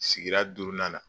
Sigira duurunan na